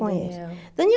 conhece. Daniel